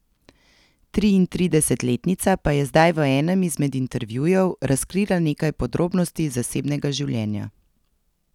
Triintridesetletnica pa je zdaj v enem izmed intervjujev razkrila nekaj podrobnosti iz zasebnega življenja.